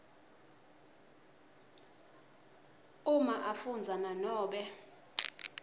uma afundza nanobe